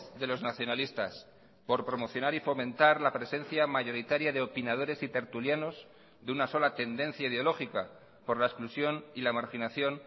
de los nacionalistas por promocionar y fomentar la presencia mayoritaria de opinadores y tertulianos de una sola tendencia ideológica por la exclusión y la marginación